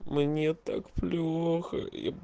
мне так плохо